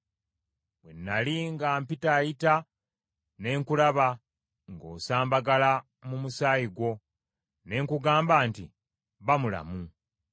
“ ‘Bwe nnali nga mpitaayita ne nkulaba ng’osambagala mu musaayi gwo, ne nkugamba nti, “Ba mulamu!”